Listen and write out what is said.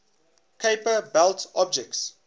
kuiper belt objects